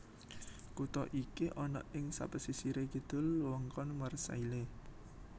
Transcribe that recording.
Kutha iki ana ing sapesisire kidul wewengkon Marseille